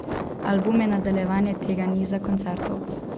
Album je nadaljevanje tega niza koncertov.